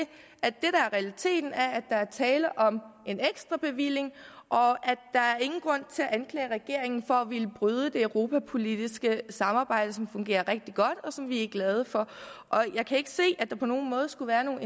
at at der er tale om en ekstra bevilling og der er ingen grund til at anklage regeringen for at ville bryde det europapolitiske samarbejde som fungerer rigtig godt og som vi er glade for jeg kan ikke se at der på nogen måde skulle være nogen